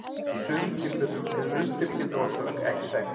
Í sumum tilfellum er undirliggjandi orsök ekki þekkt.